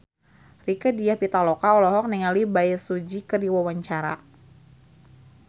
Rieke Diah Pitaloka olohok ningali Bae Su Ji keur diwawancara